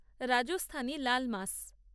Rajasthani laal মাস